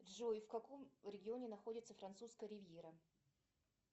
джой в каком регионе находится французская ривьера